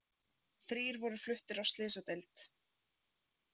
Þrír voru fluttir á slysadeild